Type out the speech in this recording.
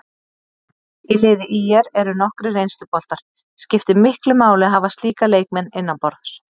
Í liði ÍR eru nokkrir reynsluboltar, skiptir miklu máli að hafa slíka leikmenn innanborðs?